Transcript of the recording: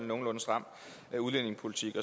nogenlunde stram udlændingepolitik